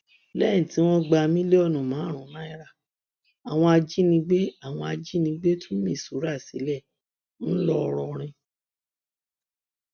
lẹyìn tí wọn gba mílíọnù márùnún náírà àwọn ajìnigbẹ àwọn ajìnigbẹ tú misura sílẹ ńlọrọrìn